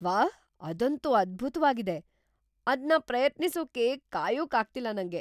ವಾಹ್, ಅದಂತೂ ಅದ್ಭುತ್ವಾಗಿದೆ! ಅದ್ನ ಪ್ರಯತ್ನಿಸೋಕೆ ಕಾಯೋಕಾಗ್ತಿಲ್ಲ ನಂಗೆ!